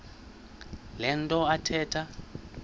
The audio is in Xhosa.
le nto athetha